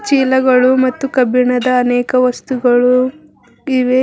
ಚೀಲಗಳು ಮತ್ತು ಕಬ್ಬಿಣದ ಅನೇಕ ವಸ್ತುಗಳು ಇವೆ.